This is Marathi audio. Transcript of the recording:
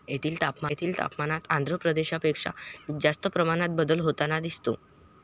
येथील तापमानात आंध्र प्रदेशापेक्षा जास्त प्रमाणात बदल होताना दिसतो.